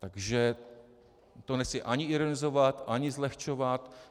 Takže to nechci ani ironizovat, ani zlehčovat.